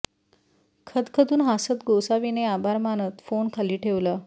खदखदून हासत गोसावीने आभार मानत फोन खाली ठेवला